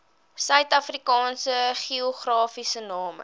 suidafrikaanse geografiese name